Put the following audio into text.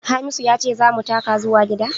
Hamisu ya ce za mu taka zuwa gida?